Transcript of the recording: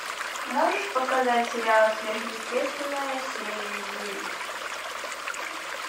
можешь показать сериал сверхъестественное серия девять